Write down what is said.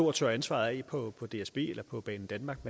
og tørre ansvaret af på dsb eller på banedanmark